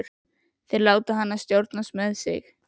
Þeir láta hana stjórnast með sig.